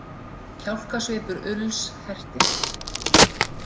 Kjálkasvipur Ulls hertist.